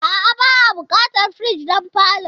A'a, ba'a buƙatar firij don falon.